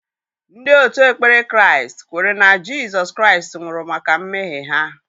Ndị òtù ekpere Kraịst kwere na Jizọs Kraịst nwụrụ maka mmehie ha.